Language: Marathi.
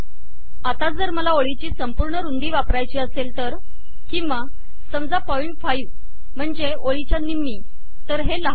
आता जर मला ओळीची संपूर्ण रुंदी वापरायची असेल तर किंवा समजा पॉईंट फाइव्ह म्हणजे ओळीच्या निम्मी तर हे लहान होईल